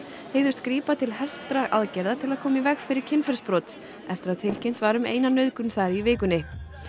hygðust grípa til hertra aðgerða til að koma í veg fyrir kynferðisbrot eftir að tilkynnt var um eina nauðgun þar í vikunni